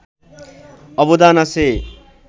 অবদান আছে